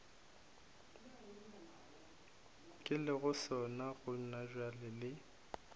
ke lego sona gonabjale le